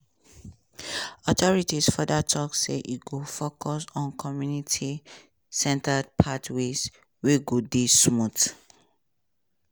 authorities further tok say e go focus on community-centered pathways wey go dey smooth.